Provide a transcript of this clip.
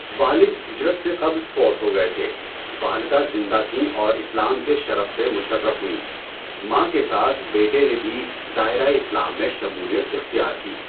والد ہجرت سے قبل فوت ہو گئے تھے، والدہ زندہ تھیں اور اسلام کے شرف سے مُشَرَّف ہوئیں۔ ماں کے ساتھ بیٹے نے بھی دائرہ اسلام میں شمولیت اختیار کی۔